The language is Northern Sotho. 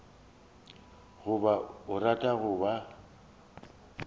goba o a rata goba